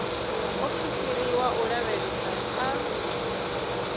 muofisiri wa u lavhelesa a